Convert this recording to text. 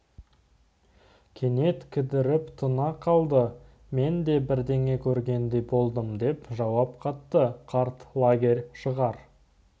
кенет кідіріп тына қалды мен де бірдеңе көргендей болдым деп жауап қатты қарт лагерь шығар